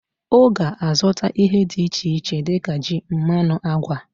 Oga azuta ihe di iche ich dika ji, mmanu, agwa